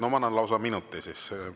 No ma annan lausa minuti siis.